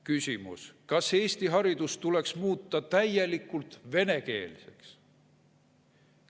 Küsimus: kas Eesti haridus tuleks muuta täielikult venekeelseks?